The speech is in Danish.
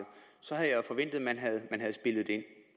så havde jeg jo forventet at man havde spillet det